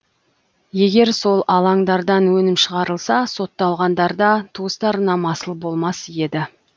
егер сол алаңдардан өнім шығарылса сотталғандар да туыстарына масыл болмас еді